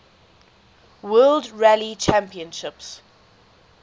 world rally championship